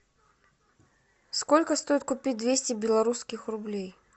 сколько стоит купить двести белорусских рублей